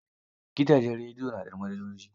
Gidajen redio na da manajoji.